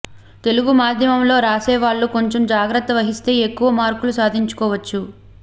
తెలుగు మాధ్యమంలో రాసేవాళ్లు కొంచెం జాగ్రత్త వహిస్తే ఎక్కువ మార్కులు సాధించుకోవచ్చు